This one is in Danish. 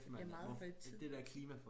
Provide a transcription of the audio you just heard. Det bliver meget højtideligt